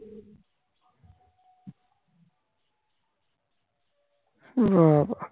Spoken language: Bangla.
সেরকমই বাবা